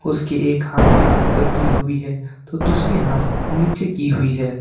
उसकी एक हाथ ऊपर की हुई है तो दूसरी हाथ नीचे की हुई है।